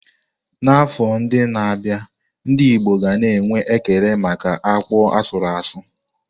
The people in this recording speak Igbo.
N'afọ ndị na-abịa, ndị Igbo ga na-enwe ekele maka akpu asuru asu.